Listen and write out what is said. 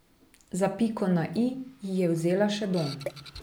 Za piko na i ji je vzela še dom.